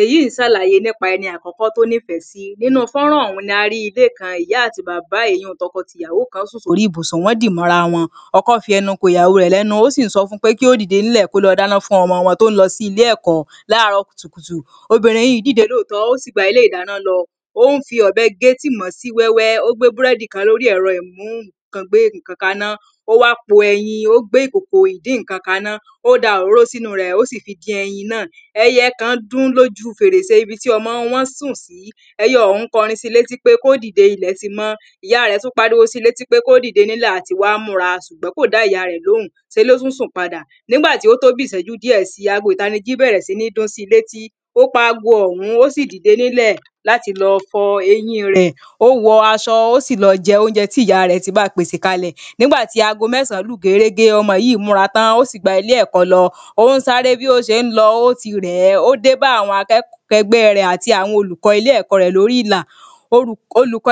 èyíì ṣàlàyé nípa ẹni àkọ́kọ́ tó níìfẹ́ sí nínu fọ́nrán ọ̀hún ni a rí ilé kan, ìyá àti bàbá èyun un tọkọ tìyàwó kan sùn sórí ìbùsùn wọ́n dì mọ́nra wọn ọkọ́ fi ẹnu ko ìyàwó rẹ̀ lẹ́nu ó sì ń sọ fún pé kí ó dìde ń lọ kí ó lọ dáná fún ọmọ wọn tó ń lọ sí ilé ẹ̀kọ́ láàárọ̀ kùtùkùtù obìnrin yíì dìde lóòótọ́ ó sì gba ilé ìdáná lọ, ó ń fi ọ̀bẹ gé tìmọ́ sí wẹ́wẹ́ ó gbé búrẹ́dì kan lórí ẹ̀rọ imú ǹkan gbé ǹkan kaná ó wá po ẹyin, ó gbé ìkòkò ìdí ǹkan kaná, ó da òróró sínúu rẹ̀ ó sì fi dín ẹyin náà ẹyẹ kan dún lójúu fèrèsé ibi tí ọmọ wọn sùn sí ẹyẹ ọ̀hún kọrin si létí pé kó dìde ilẹ̀ ti mọ́. ìyá rẹ̀ tún pariwo si létí pé kó dìde nílẹ̀ àti wá múra sùgbọ́n kò dá ìyá rẹ lóhùn se ló tún sùn padà. nígbà tí ó tó bí ìsẹ́jú díẹ̀ si, ago ìtanijí bẹ̀rẹ̀ síní dún si létí ó pa ago ọ̀hún ó sì dìde nílẹ̀ láti lọ fọ eyín rẹ̀ ó wọ aṣọ ó sì lọ jẹ oúnjẹ tí ìyá rẹ̀ ti ba pèsè kalẹ̀ nígbà tí ago mẹ́sàn-án lù gérégé, ọmọ yí múra tán ó sì gba ilé ẹ̀kọ́ lọ ó ń sáré bí ó ṣe ń lọ, ó ti rẹ̀ẹ́. ó dé bá àwọn akẹgbẹ́ rẹ̀ àti àwọn olùkọ́ ilé ẹ̀kọ́ rẹ̀ lórí ìlà orúkọ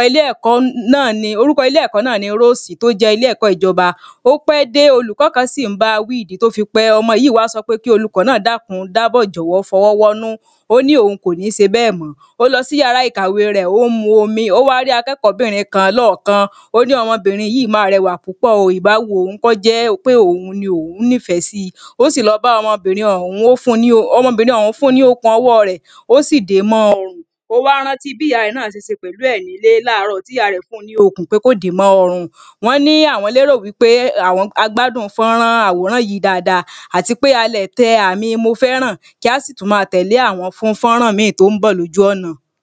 ilé ẹ̀kọ́ náà ni róòsì, tó jẹ́ ilé ẹ̀kọ́ ìjọba ó pẹ́ dé olùkọ́ kan sì ń bawí ìdí tí ó fi pẹ́, ọmọ yìí wá sọ pé kí olùkọ́ náà dákun dábọ̀ jọ̀wọ́ fọwọ́ wọ́nú ó ní òhun kò ní se bẹ́ẹ̀ mọ́. ó lọ sí yàrá ìkàwé rẹ̀ ó ń mu omi ó wá rí akẹ́kọ̀ọ́ bìnrin kan lọ́ọ̀ọ́kán ó ní ọmọbìnrin yíì máà rẹwà púpọ̀ o ìbá wu òhun kọ́ jẹ́ pé òhun ni òhun níìfẹ́ sí ó sì lọ bá ọmọbìnrin ọ̀hún. ọmọbìnrin òhún fún un ní òkùn ọwọ́ọ rẹ̀ ó sì dèé mọ́ ọrùn, ó wá rántí bí ìyá rẹ̀ náà ṣe se pèlú ẹ̀ nílé láàárọ̀ tí ìya rẹ̀ fún un ní okùn pé kó dèé mọ́ ọrùn wọ́n ní àwọ́n lérò wípé a gbádùn fọ́nrán àwòrán yí dáadáa àti pé a lẹ̀ tẹ àmi mofẹ́ràn kí á sì tún máa tẹ̀lé àwọn fun fọ́nrán míì tó ń bọ̀ lójú ọ̀nà.